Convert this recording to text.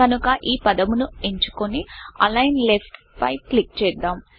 కనుక ఈ పదమును ఎంచుకొని అలిగ్న్ Leftఅలైన్ లెఫ్ట్ పై క్లిక్ చేద్దాం